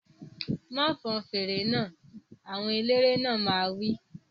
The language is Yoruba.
Má fọn fèrè náà! Àwọn eléré náà máa wí